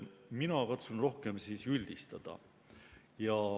Mina katsun rohkem üldistada.